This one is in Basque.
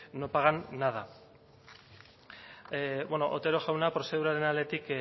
no pagan nada bueno otero jauna prozeduraren aldetik